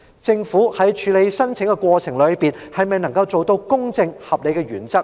政府在處理申請的過程中，是否能夠符合公正、合理的原則？